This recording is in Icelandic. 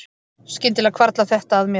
Skyndilega hvarflar þetta að mér